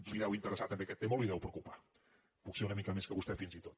li deu interessar també aquest tema o el deu preocupar potser que una mica més que a vostè fins i tot